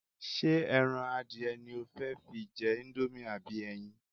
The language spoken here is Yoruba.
Ṣé ẹran adìẹ ni o fẹ́ fi jẹ íńdómì àbí ẹyin?